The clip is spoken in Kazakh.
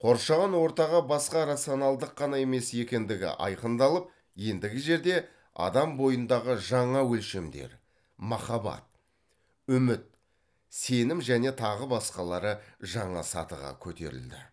қоршаған ортаға басқа рационалдық қана емес екендігі айқындалып ендігі жерде адам бойындағы жаңа өлшемдер махаббат үміт сенім және тағы басқалары жаңа сатыға көтерілді